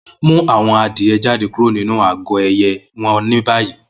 Mu awọn adie jade kuro ninu agọ ẹyẹ wọn ni bayi!